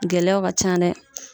Gɛlɛya ka ca nɛ